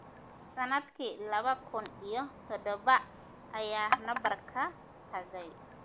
Sannadkii laba kun iyo toddoba ayaa nabar ka tagay.